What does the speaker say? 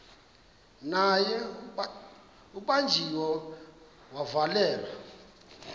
naye ubanjiwe wavalelwa